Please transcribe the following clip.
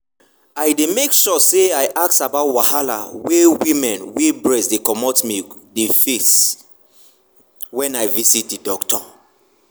i dey make sure say i ask about wahala wey women wey breast dey comot milk dey face when i visit the doctor.